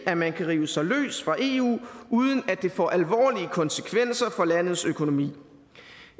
at man kan rive sig løs fra eu uden at det får alvorlige konsekvenser for landets økonomi